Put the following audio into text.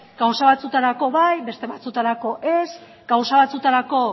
gauza batzuetarako bai beste batzuetarako ez gauza batzuetarako